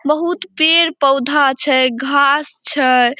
बहुत पेड़-पौधा छै घास छै।